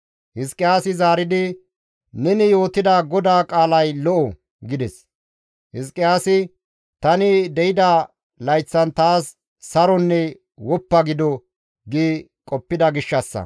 Hizqiyaasi zaaridi, «Neni yootida GODAA qaalay lo7o» gides. Hizqiyaasi, «Tani de7ida layththan taas saronne woppa gido» gi qoppida gishshassa.